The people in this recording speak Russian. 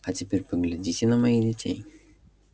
а теперь поглядите на моих детей